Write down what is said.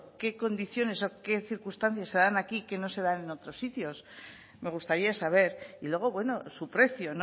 qué condiciones o qué circunstancias se dan aquí que no se dan en otros sitios me gustaría saber y luego bueno su precio